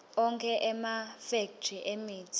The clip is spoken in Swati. onkhe emafekthri emitsi